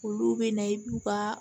Olu bɛ na i ka